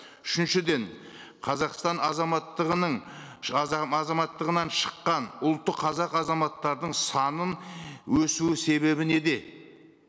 үшіншіден қазақстан азаматтығының азаматтығынан шыққан ұлты қазақ азаматтардың санының өсуі себебі неде